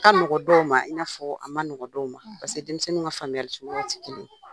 A ka mɔgɔ dɔw ma i n'a fɔ a ma nɔgɔ dɔw ma denmisɛnniw ka famuyali cogoyaw tɛ kelen ye.